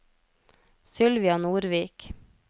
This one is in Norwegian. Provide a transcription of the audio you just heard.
Sylvia Nordvik